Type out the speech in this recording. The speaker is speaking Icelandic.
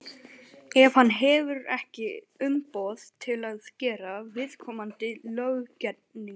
ef hann hefur ekki umboð til að gera viðkomandi löggerning.